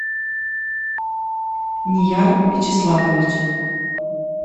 нияр вячеславович